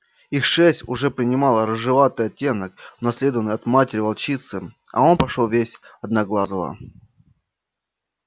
их шерсть уже принимала рыжеватый оттенок унаследованный от матери волчицы а он пошёл весь в одноглазого